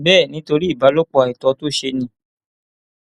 bẹẹ nítorí ìbálòpọ àìtọ tó ṣe ni